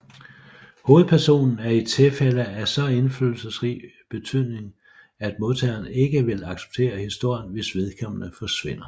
Hovedpersonen er i tilfælde af så indflydelsesrig betydning at modtageren ikke vil acceptere historien hvis vedkommende forsvinder